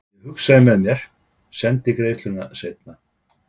Ég hugsaði með mér: Sendi greiðsluna seinna.